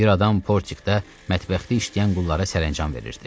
Bir adam Portikdə mətbəxdə işləyən qullara səranjam verirdi.